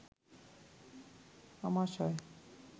আমাশয়